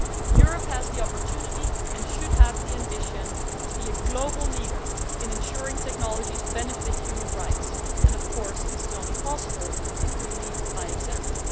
Europe has the opportunity and should have the ambition to be a global leader in ensuring technologies benefit human rights and this is only possible if we lead by example.